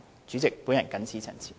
主席，我謹此陳辭。